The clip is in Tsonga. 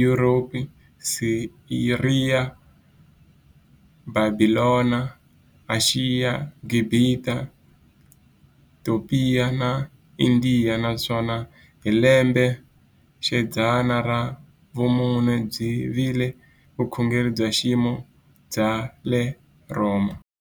Yuropa, Siriya, Bhabhilona, Ashiya, Gibhita, Topiya na Indiya, naswona hi lembexidzana ra vumune byi vile vukhongeri bya ximfumo bya le Rhoma.